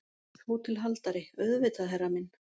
HÓTELHALDARI: Auðvitað, herra minn!